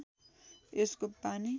यसको पानी